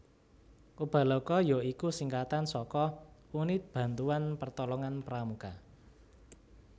Ubaloka ya iku singkatan saka Unit Bantuan Pertolongan Pramuka